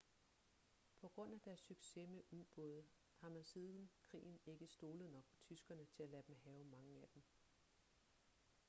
på grund af deres succes med ubåde har man siden krigen ikke stolet nok på tyskerne til at lade dem have mange af dem